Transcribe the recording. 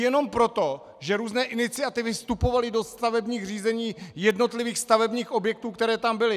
Jenom proto, že různé iniciativy vstupovaly do stavebních řízení jednotlivých stavebních objektů, které tam byly.